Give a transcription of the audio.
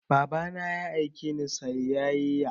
Baba na ya aike ni sayayya